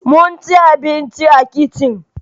Mun ci abinci a kicin